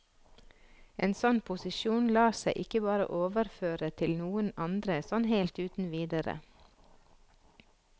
En sånn posisjon lar seg ikke bare overføre til noen andre sånn helt uten videre.